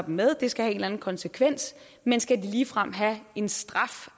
en med og det skal have en konsekvens men skal de ligefrem have en straf